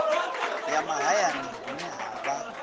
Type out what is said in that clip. ya mahayani hune ha vha